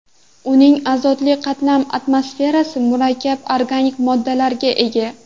Uning azotli qalin atmosferasi murakkab organik moddalarga ega.